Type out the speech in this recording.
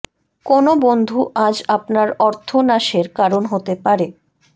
কোনো বন্ধু আজ আপনার অর্থ নাশের কারণ হতে পারে